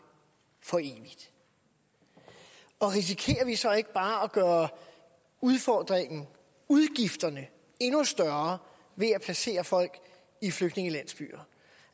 for evigt risikerer vi så ikke bare at gøre udfordringen og udgifterne endnu større ved at placere folk i flygtningelandsbyer